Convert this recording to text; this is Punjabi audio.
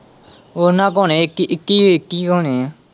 ਉਹਨਾਂ ਕੋਲ਼ ਹੋਣੇ ਇੱਕੀ-ਇੱਕੀ ਕ ਇੱਕੀ ਹੋਣੇ ਏ।